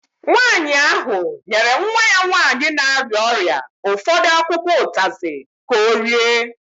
Nwanyị ahụ nyere nwa ya nwanyị na-arịa ọrịa ụfọdụ akwụkwọ utazi ka ọ rie